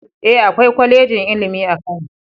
E, akwai kwalejin ilimi a Kano